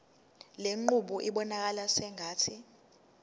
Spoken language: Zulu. lenqubo ibonakala sengathi